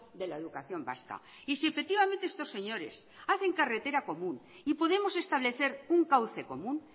de la educación vasca y si efectivamente estos señores hacen carretera común y podemos establecer un cauce común